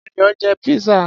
Ayò jẹ pizza.